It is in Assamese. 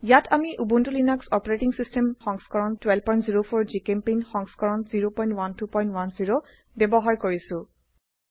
ইয়াত আমি উবুন্টু লিনাক্স অচ সংস্কৰণ 1204 জিচেম্পেইণ্ট সংস্কৰণ 01210 ব্যবহাৰ কৰিছো